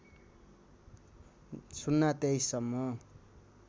०२३ सम्म